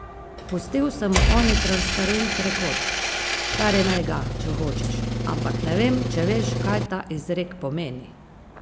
Pustil sem mu oni transparent, rekoč: "Kar imej ga, če hočeš, ampak ne vem, če veš, kaj ta izrek pomeni".